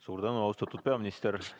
Suur tänu, austatud peaminister!